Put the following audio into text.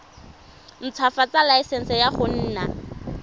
ntshwafatsa laesense ya go nna